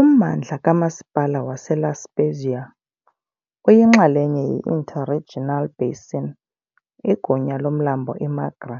Ummandla kamasipala waseLa Spezia uyinxalenye ye- interregional basin igunya lomlambo i-Magra,